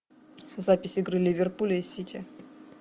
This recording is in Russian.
запись игры ливерпуля и сити